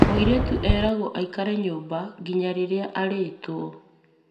mũĩrĩtu eragwo aikare nyũmba nginya rĩrĩa arĩtwo